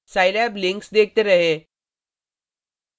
Scilab links देखते रहें